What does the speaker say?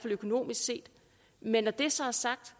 økonomisk set men når det så er sagt